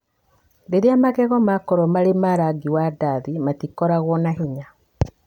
Rĩrĩa magego makorũo marĩ ma rangi wa ndathi, matikoragwo na hinya.